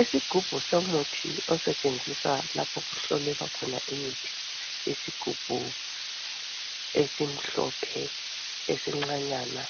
Isigubhu somuthi osetshenziswa lapho okuhlolelwa khona imithi. Isigubhu esimhlophe esincanyana